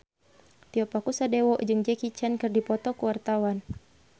Tio Pakusadewo jeung Jackie Chan keur dipoto ku wartawan